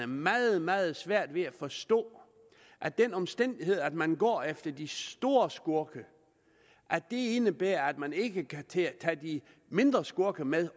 meget meget svært ved at forstå at den omstændighed at man går efter de store skurke indebærer at man ikke også kan tage de mindre skurke med